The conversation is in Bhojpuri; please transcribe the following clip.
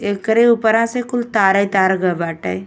एकरे उपरा से कुल तारे तार गई बाटे।